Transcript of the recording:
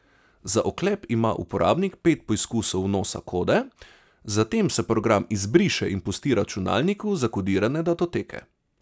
Za odklep ima uporabnik pet poizkusov vnosa kode, zatem se program izbriše in pusti na računalniku zakodirane datoteke.